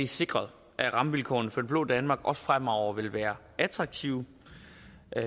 sikret at rammevilkårene for det blå danmark også fremover vil være attraktive